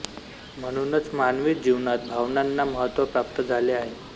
म्हणूनच मानवी जीवनात भावनांना महत्व प्राप्त झाले आहे